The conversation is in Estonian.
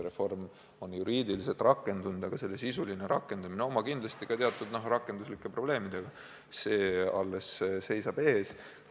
Reform on juriidiliselt rakendunud, selle sisuline rakendamine oma rakenduslike probleemidega alles seisab ees.